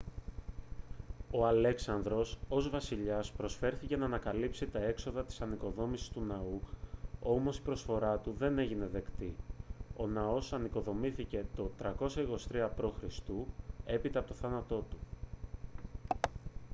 ο αλέξανδρος ως βασιλιάς προσφέρθηκε να καλύψει τα έξοδα της ανοικοδόμησης του ναού όμως η προσφορά του δεν έγινε δεκτή ο ναός ανοικοδομήθηκε το 323 π.χ. έπειτα από τον θάνατό του